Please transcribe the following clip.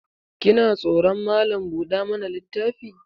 Kina tsoron Malam buɗa mana littafi?